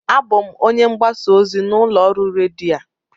Abụ m onye mgbasa ozi n'ụlọ ọrụ redio a